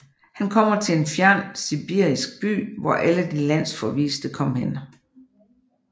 Han kommer til en fjern sibirisk by hvor alle de landsforviste kom hen